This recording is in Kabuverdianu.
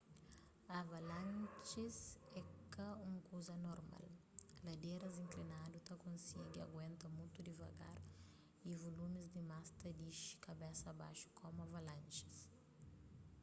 avalanjis é ka un kuza anormal ladéras inklinadu ta konsigi aguenta mutu divagar y vulumis dimas ta dixi kabesa baxu komu avanlanjis